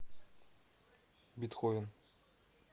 бетховен